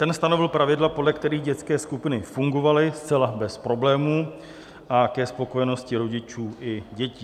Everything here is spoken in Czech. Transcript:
Ten stanovil pravidla, podle kterých dětské skupiny fungovaly zcela bez problémů a ke spokojenosti rodičů i dětí.